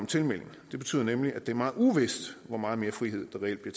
tilmelding det betyder nemlig at det er meget uvist hvor meget mere frihed der reelt bliver